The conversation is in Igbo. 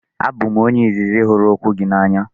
Abụ m onye izizi hụrụ okwu gị n'anya.